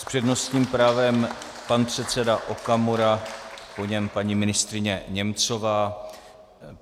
S přednostním právem pan předseda Okamura, po něm paní ministryně Němcová.